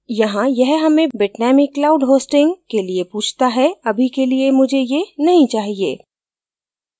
यहाँ यह हमें bitnami cloud hosting के लिए पूछता है अभी के लिए मुझे ये नहीं चाहिए